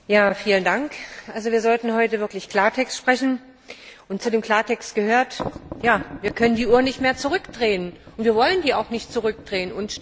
Herr Präsident! Wir sollten heute wirklich Klartext sprechen, und zu dem Klartext gehört Wir können die Uhr nicht mehr zurückdrehen und wir wollen sie auch nicht zurückdrehen.